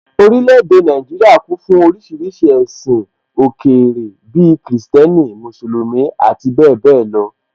Orílẹ̀ èdè Nàìjíríà kún fún oríṣiríṣi ẹ̀sìn òkèèrè bíi Kìrìsìtẹ́nì, Mùsùlùmí, ati bẹ́ẹ̀bẹ́ẹ̀ lọ